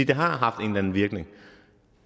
det har haft en anden virkning